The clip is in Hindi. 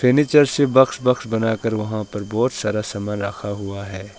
नीचे से बॉक्स बॉक्स बनाकर वहां पर बहुत सारा सामान रखा है।